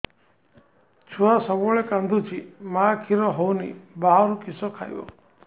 ଛୁଆ ସବୁବେଳେ କାନ୍ଦୁଚି ମା ଖିର ହଉନି ବାହାରୁ କିଷ ଖାଇବ